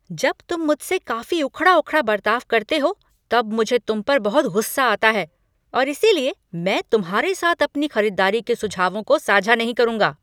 जब तुम मुझसे काफ़ी उखड़ा उखड़ा बर्ताव करते हो तब मुझे तुम पर बहुत गुस्सा आता है और इसीलिए मैं तुम्हारे साथ अपनी खरीदारी के सुझावों को साझा नहीं करूँगा।